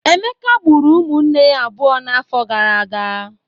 Emeka gburu ụmụnne ya abụọ n'afọ gara aga.